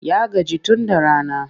Ya gaji tun da rana.